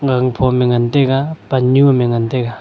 gangphom e ngan taga pannyu am e ngan taga.